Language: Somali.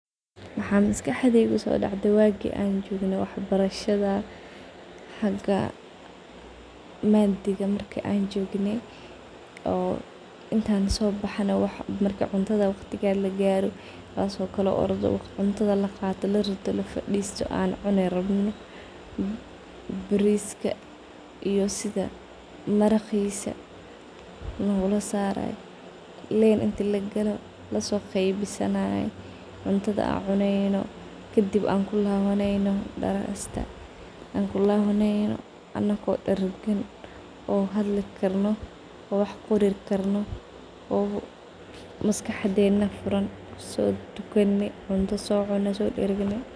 Maxan maskaxdeyda kusodacde wagi an jogne wax barashada xaga madiga marki an jogne inti ansobaxno waqtiga cuntada marki lagaro in an fadisano cuntada soqadano wada cuno baris a iyo maraqisa an losari jire bananka an kuwada cuni jirne maraqisa lonasaray lin inti lasoqeybisanayo cuntada an cuneyno kadin an claska kulawaneyno anago haldi karno so daragne sotukane cunto socune, maskaxdena furan, sotukane cunto socune, so daragne.